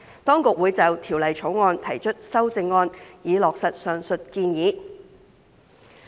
當局會就《條例草案》提出修正案，以落實上述建議。